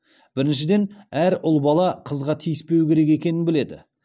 біріншіден әр ұл бала қызға тиіспеу керек екенін біледі